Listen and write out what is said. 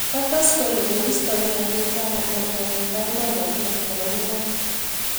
Kotes kole koistake emet ab Amerika eng kandoinatet nebo ngwony.